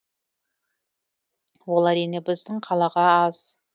ол әрине біздің қалаға аз